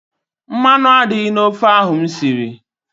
Mmanụ adịghị n' ofe ahụ m siri.